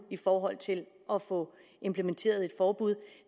i forhold til at få implementeret et forbud